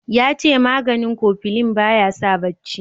yace maganin kofilin ba ya sa shi barci